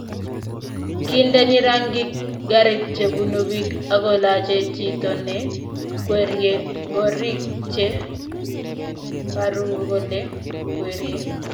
kindeni rangik garit che bune piik akolache chito ne kwerie ngorik che paru kole kwerie